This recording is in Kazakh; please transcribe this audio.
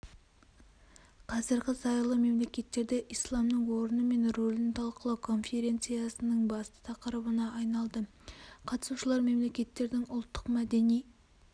қазіргі зайырлы мемлекеттерде исламның орны мен рөлін талқылау конференцияның басты тақырыбына айналды қатысушылар мемлекеттердің ұлттық мәдени